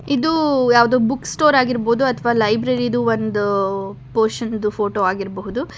ಇದು ಯಾವ್ದೋ book store ಆಗಿರ್ಬೋದು ಅಥವಾ ಲೈಬ್ರರಿ ದು ಒಂದು ಪೋಶನ ದು ಫೋಟೋ ಆಗಿರಬಹುದು.